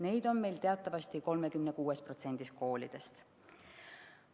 Neid on meil teatavasti 36%‑s koolidest.